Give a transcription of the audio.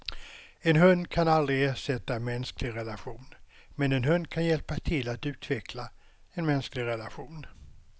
En hund kan aldrig ersätta en mänsklig relation, men en hund kan hjälpa till att utveckla en mänsklig relation.